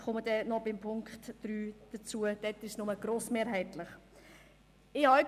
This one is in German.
Ich komme noch bei Punkt 3 dazu: dort ist es nur grossmehrheitlich so.